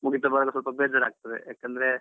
ಮುಗಿತಾ ಬರುವಾಗ ಸ್ವಲ್ಪ ಬೇಜಾರ್ ಆಗ್ತಾದೆ ಯಾಕಂದ್ರೆ?